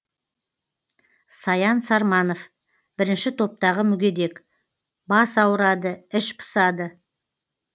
саян сарманов бірінші топтағы мүгедек бас ауырады іш пысады